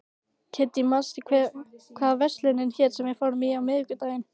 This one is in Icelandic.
Kiddý, manstu hvað verslunin hét sem við fórum í á miðvikudaginn?